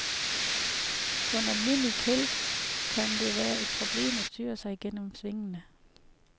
På en almindelig kælk kan det være et problem at styre sig gennem svingene.